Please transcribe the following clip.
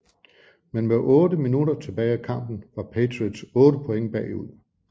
Men med 8 minutter tilbage af kampen var Patriots 8 point bagud